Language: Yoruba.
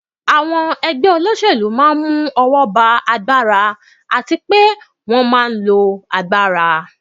Àwọn ẹgbẹ́ òṣèlú máa n mú ọwọ́ ba agbára ba àti pé wọ́n máa n lo agbára